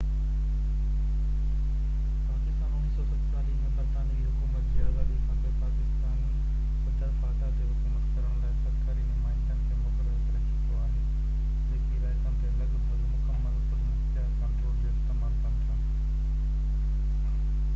پاڪستان 1947 ۾ برطانوي حڪومت جي آزادي کانپوءِ پاڪستاني صدر فاٽا تي حڪومت ڪرڻ لاءِ سرڪاري نمائندن کي مقرر ڪري چڪو آهي جيڪي علائقن تي لڳ ڀڳ مڪمل خودمختيار ڪنٽرول جو استعمال ڪن ٿا